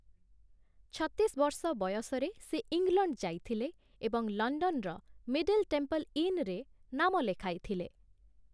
ଛତିଶ ବର୍ଷ ବୟସରେ ସେ ଇଂଲଣ୍ଡ ଯାଇଥିଲେ ଏବଂ ଲଣ୍ଡନ୍‌ର ମିଡିଲ୍ ଟେମ୍ପଲ୍ ଇନ୍‌ରେ ନାମ ଲେଖାଇଥିଲେ ।